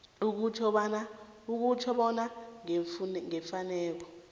okutjho bona ngeemfuneko